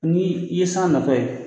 Ni i ye san natɔla ye.